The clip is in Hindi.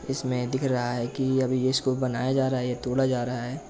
इसमे दिख रहा है कि अब इसको बनाया जा रहा है या तोड़ा जा रहा है।